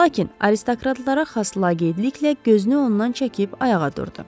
Lakin aristokratlara xas laqeydliklə gözünü ondan çəkib ayağa durdu.